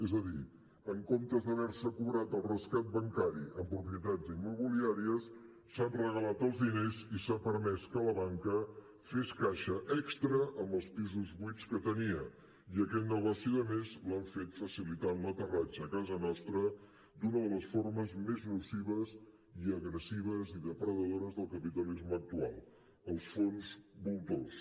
és a dir en comptes d’haver se cobrat el rescat bancari amb propietats immobiliàries s’han regalat els diners i s’ha permès que la banca fes caixa extra amb els pisos buits que tenia i aquest negoci de més l’han fet facilitant l’aterratge a casa nostra d’una de les formes més nocives i agressives i depredadores del capitalisme actual els fons voltors